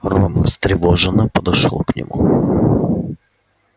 рон встревоженно подошёл к нему